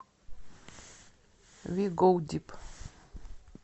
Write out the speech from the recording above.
ви гоу дип